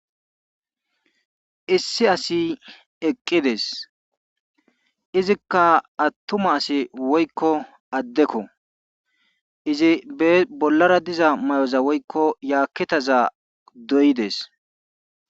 Issi asi eqqides izikka atuma asi wokko addekko izi be bollara diza mayoza woykko yaketaza dooyidees.